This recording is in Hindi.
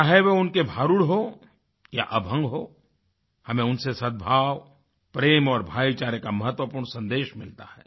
चाहे वो उनके भारुड हो या अभंग हो हमें उनसे सदभाव प्रेम और भाईचारे का महत्वपूर्ण सन्देश मिलता है